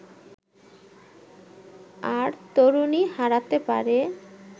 আর তরুণী হারাতে পারে